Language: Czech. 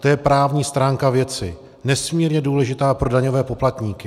To je právní stránka věci, nesmírně důležitá pro daňové poplatníky.